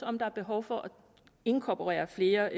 om der er behov for at inkorporere flere